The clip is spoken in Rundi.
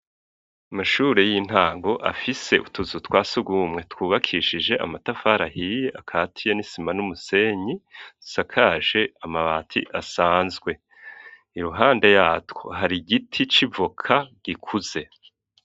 Amashuri y'intango afise utuzu twa sugumwe twubakishije amatafari ahiye akatiye n'isima n'umusenyi zisakaje amabati asanzwe iruhande yatwo hari giti c'ivoka gikuze.